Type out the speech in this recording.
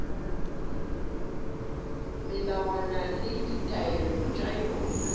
melawana le ditaelo tša yona